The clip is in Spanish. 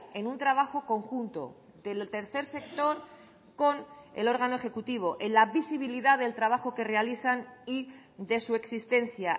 en un trabajo conjunto del tercer sector con el órgano ejecutivo en la visibilidad del trabajo que realizan y de su existencia